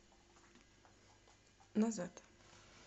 назад